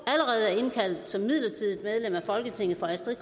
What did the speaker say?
allerede er indkaldt som midlertidigt medlem af folketinget for astrid